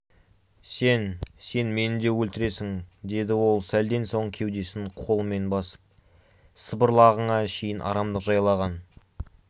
сен сен мені де өлтіресің деді ол сәлден соң кеудесін қолымен басып сыбырлағыңа шейін арамдық жайлаған